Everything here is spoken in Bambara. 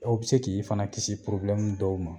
o bi se k'i kiisi dɔw ma.